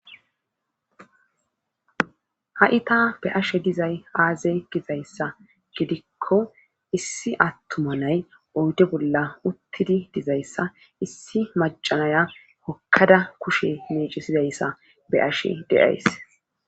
Ha7i ta be7ashe dizay aaze dizayssa gidikko issi attuma nay oyde bolla uttidi dizayssa issi macanaya hokkada kushe meecisizayssa be7ashe de7ays.